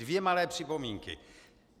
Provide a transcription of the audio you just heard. Dvě malé připomínky.